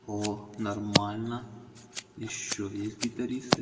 о нормально ещё есть гитаристы